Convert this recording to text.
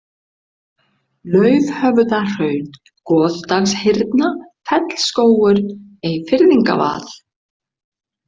Laufhöfðahraun, Goðdalshyrna, Fellsskógur, Eyfirðingavað